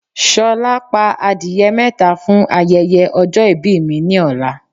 S̩o̩lá, pa adìye̩ mé̩ta fún aye̩ye̩ o̩jo̩ ìbí mi ní ò̩la.